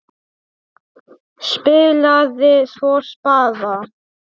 Spilaði svo spaða.